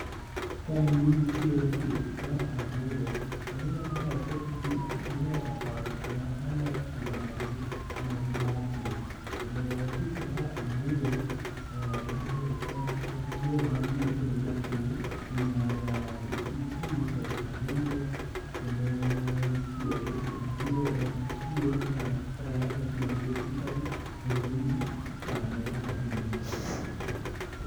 ka endi nitire pith mar anguro kendo nitie kendo gin e ot molos ma margi magi dakie, kendo pith mar anguro en yoo mar yuto ne japur mar uso anguro kendo en chiemo mako yange to iyude e butchery to bende ichame kaka ringo.